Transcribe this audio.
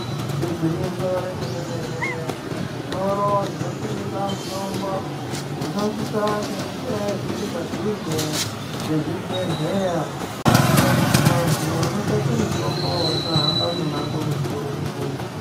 Igwinyiso remene-mene muzvitoro zvinotengesa mutombo zvinosisa kunge zviri padhuze ngezvibhedhleya kuitira kuti vantu vanotsvake mitombo vasahambe mumango mukurutu.